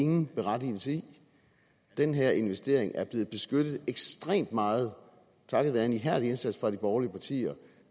nogen berettigelse i den her investering er blevet beskyttet ekstremt meget takket være en ihærdig indsats fra de borgerlige partier